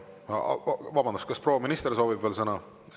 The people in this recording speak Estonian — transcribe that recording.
Vabandust, kas proua minister soovib veel sõna?